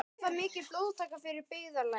Var það mikil blóðtaka fyrir byggðarlagið.